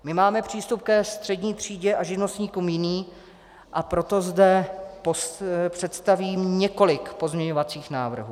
My máme přístup ke střední třídě a živnostníkům jiný, a proto zde představím několik pozměňovacích návrhů.